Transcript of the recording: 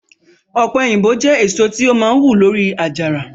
ope oyinbo jẹ eso ti o maa hu lori ajara